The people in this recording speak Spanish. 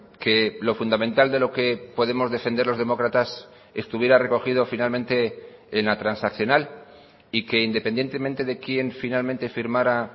que lo fundamental de lo que podemos defender los demócratas estuviera recogido finalmente en la transaccional y que independientemente de quién finalmente firmara